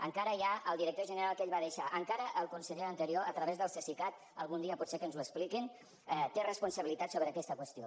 encara hi ha el director general que ell va deixar encara el conseller anterior a través del cesicat algun dia potser que ens ho expliquin té responsabilitat sobre aquesta qüestió